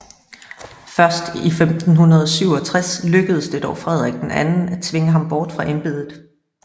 Først i 1567 lykkedes det dog Frederik II at tvinge ham bort fra embedet